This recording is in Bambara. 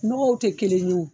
Nɔgɔw te kelen ye o